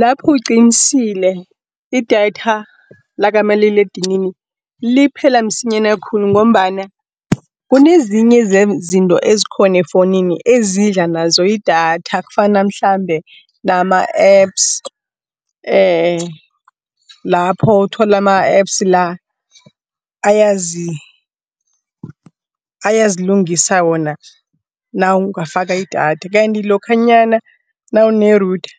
Lapho uqinisile, idatha lakamaliledinini liphela msinyana khulu, ngombana kunezinye zezinto ezikhona efowunini ezidla nazo idatha. Kufana mhlambe nama-Apps lapho uthola ama-Apps la, ayazilungisa wona nawungafaka idatha. Kanti lokhanyana nawune-router,